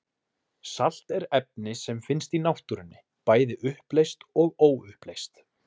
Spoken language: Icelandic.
Salt er efni sem finnst í náttúrunni, bæði uppleyst og óuppleyst.